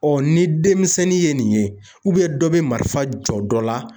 Ɔ ni denmisɛnnin ye nin ye dɔ bɛ marifa jɔ dɔ la